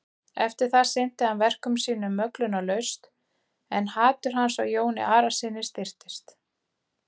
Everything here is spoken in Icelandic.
Eftir það sinnti hann verkum sínum möglunarlaust en hatur hans á Jóni Arasyni styrktist.